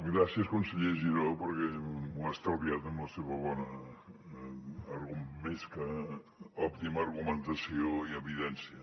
gràcies conseller giró perquè m’ho ha estalviat amb la seva bona més que òptima argumentació i evidència